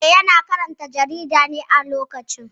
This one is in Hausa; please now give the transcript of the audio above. Eh, yana karanta jarida ne a lokacin